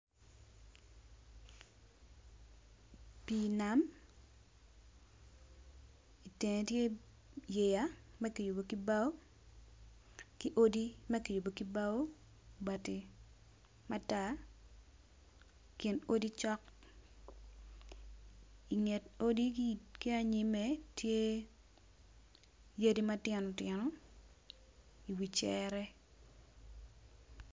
Pi nam itenge tye yeya makiyubo ki bao ki odi makiyubo ki bao bati matek kin odi cok inget odigi ki anyme tye yadi matino tino i wi cere.